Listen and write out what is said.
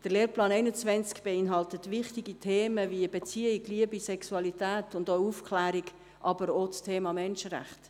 Der Lehrplan 21 beinhaltet wichtige Themen wie Beziehung, Liebe, Sexualität und auch Aufklärung, aber auch das Thema Menschenrechte.